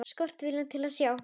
Skortir viljann til að sjá.